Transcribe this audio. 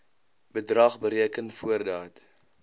bedrag bereken voordat